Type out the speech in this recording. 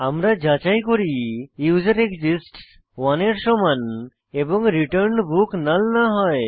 আমরা যাচাই করি ইউজারএক্সিস্টস 1 এর সমান এবং return book নাল না হয়